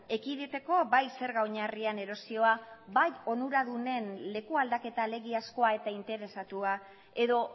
ekiditeko bai zerga oinarrian erosioa bai onuradunen lekualdaketa alegiazkoa eta interesatua edo